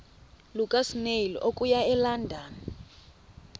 lukasnail okuya elondon